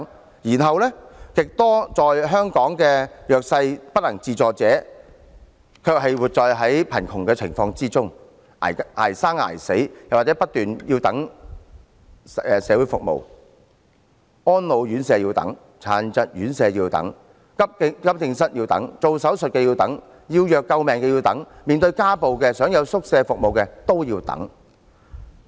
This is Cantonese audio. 另一方面，極多香港的弱勢人士、不能自助者，卻要活在貧窮中，捱生捱死，又或是不斷等候各種社會服務，安老院舍要等、殘疾院舍要等、急症室要等、做手術要等、要藥救命要等、面對家暴想要住宿服務都要等。